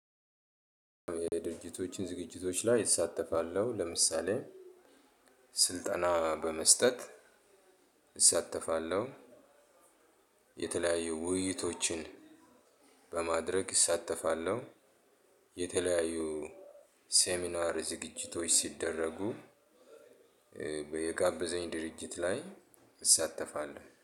የድርጅቶች ዝግጅቶች ላይ እሳተፋለሁ። ለምሳሌ: ስልጠና በመስጠት እሳተፋለሁ። የተለያዩ ውይይቶችን በማድረግ እሳተፋለሁ። የተለያዩ ሴሚናር ዝግጅቶች ሲደረጉ የጋበዘኝ ድርጅት ላይ እሳተፍለሁኝ።